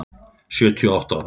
Sjötíu og átta ára.